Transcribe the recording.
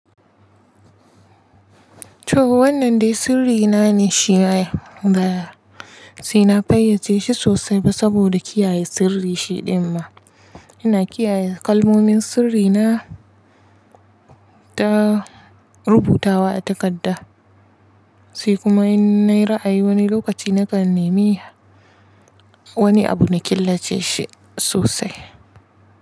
To wannan dai sirri na ne shiyaya baya, sai na fayyace shi sosai ba saboda kiyaye sirri shiɗin ma. Ina kiyaye kalmomin sirri na ta rubutawa a takarda, sai kuma in nayi ra'ayi wani lokaci nakan nemi wani abu na killace shi sosai.